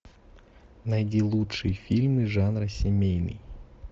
найди лучшие фильмы жанра семейный